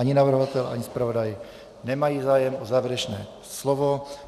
Ani navrhovatel ani zpravodaj nemá zájem o závěrečné slovo.